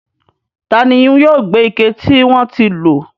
Taani yóò gbé àwọn ike tí wọ́n ti lò?